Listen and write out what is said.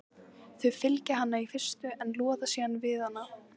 Þau fylgja henni í fyrstu en loða síðan við hana.